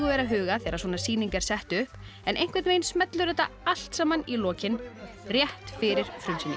er að huga þegar svona sýning er sett upp en einhvern veginn smellur þetta allt saman í lokin rétt fyrir frumsýningu